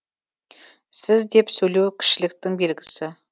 сіз деп сөйлеу кішіліктің белгісі